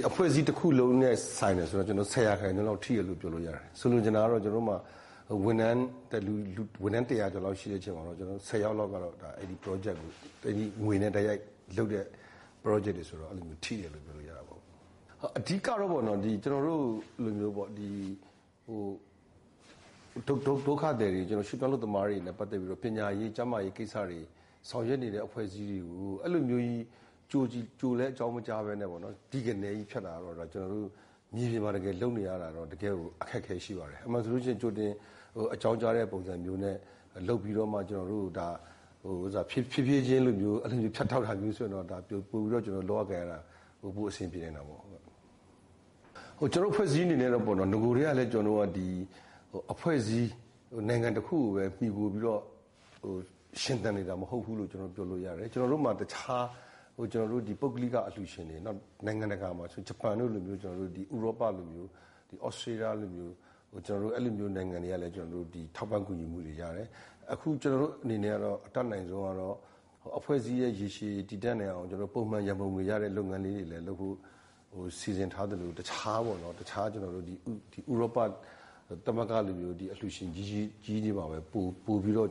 “အဖွဲ့အစည်းတခုလုံးနဲ့ဆိုင်တယ်ဆိုတော့ ၁၀ % လောက် ထိတယ်လို့ ပြောလို့ရတယ်။ ဆိုလိုချင်တာက ဝန်ထမ်း ၁၀၀ ကျော်လောက်မှာ ဆယ်ယောက်လောက်က ဝန်ထမ်း တိုက်ရိုက်လုပ်တဲ့ပရောဂျက်တွေဆိုတော့ ထိတယ်လို့ ပြောလို့ရတာပေါ့။ အဓိက,ကတော့ ဒုက္ခသည်တွေ၊ ရွှေ့ပြောင်းအလုပ်သမားတွေနဲ့ပတ်သက်ပြီးတော့ ပညာရေး၊ ကျန်းမာရေးဆောင်ရွက်နေတဲ့အဖွဲ့အစည်းတွေကို အဲလိုမျိုးကြီး ကြိုလည်းအကြောင်းမကြားဘဲနဲ့ ‘တိ’ကနဲ ဖြတ်တော့ ကျနော်တို့ မြေပြင်မှာလုပ်နေရတာတော့ တကယ်ကိုအခက်အခဲရှိပါတယ်။ အမှန်ဆိုလို့ရှိရင် ကြိုတင်အကြောင်းကြားတဲ့ပုံစံမျိုးနဲ့ ဖြည်းဖြည်းချင်းလိုမျိုး ဖြတ်တောက်တာမျိုးဆိုရင်တော့ ပိုပြီးတော့ လုပ်ရကိုင်ရတာ ပိုအဆင်ပြေနိုင်တာပေါ့။ ကျနော်တို့အဖွဲ့အစည်းအနေနဲ့ကတော့ နဂိုကတည်းကလည်းပဲ နိုင်ငံတခုကိုမှီခိုပြီးတော့ ရှင်သန်နေတာမဟုတ်ဘူးလို့ ကျနော်တို့ပြောလို့ရတယ်။ ကျနော်တို့မှာ တခြား ပုဂ္ဂလိကအလှူရှင်တွေ ဂျပန်တို့လိုမျိုး နိုင်ငံတကာအလှူရှင်တွေ၊ ဥရောပလိုမျိုး၊ သြစတြေးလျလိုမျိုး အဲလိုနိုင်ငံတွေဆီကလည်း ထောက်ပံ့ကူညီမှုတွေရတယ်။ အခု ကျနော်တို့အနေနဲ့အတတ်နိုင်ဆုံးကတော့ အဖွဲ့အစည်းရဲ့ရေရှည်တည်တံ့နိုင်အောင် ပုံမှန်ရံပုံငွေရတဲ့လုပ်ငန်းတွေလည်း လုပ်ဖို့ စီစဥ်ထားသလို တခြား ဥရောပသမဂ္ဂလိုမျိုး အလှူရှင်ကြီးတွေမှာပဲ ပိုပြီးတော့